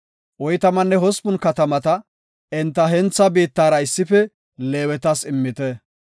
Oytamanne hospun katamata enta hentha biittara issife Leewetas immite.